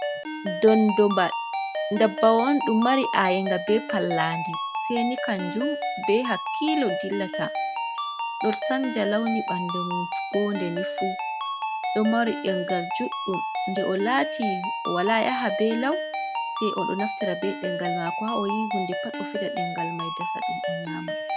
Dondo bal. Ɗum dabbawa on ɗum mari ayenga be pallandi, sai ni kanjum be hakkilo dilla ta ɗo sanja launi ɓandu mum ndenifu. Do mari ɗengal juɗɗum, nde o lati o wala yaha be lau, se oɗo naftira be ɗengal mako ha, oyi hude pat o fiɗa dengal dasa ɗum o nyama.